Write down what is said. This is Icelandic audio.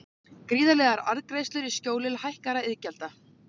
Gríðarlegar arðgreiðslur í skjóli hækkaðra iðgjalda